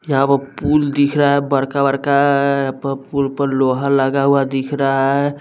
यहाँ पर पूल दिख रहा है बड़का बरका आआ अ प पुल पर लोहा लगा हुआ दिख रहा है।